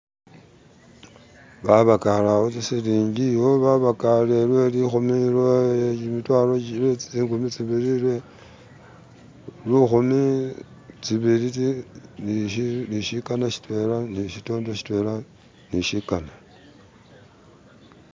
Babagaale wo tsi silinji iwo babagale lwe likumi, lwe jimitwalo lwe zinkumi zibili lwe, ni shikana shitwena ni shikana